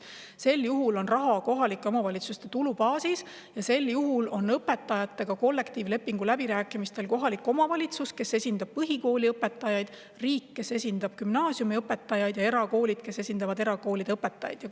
Sel juhul on raha kohalike omavalitsuste tulubaasis ja kollektiivlepingu läbirääkimistel osalevad kohalik omavalitsus, kes esindab põhikooliõpetajaid, riik, kes esindab gümnaasiumiõpetajaid, ja erakoolid, kes esindavad erakoolide õpetajaid.